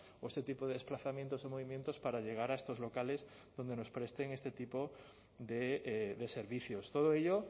o este tipo de desplazamientos o movimientos para llegar a estos locales donde nos presten este tipo de servicios todo ello